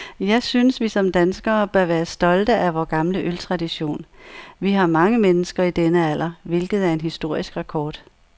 Jeg synes, vi som danskere bør være stolte af vor gamle øltradition. Vi har mange mennesker i denne alder, hvilket er en historisk rekord.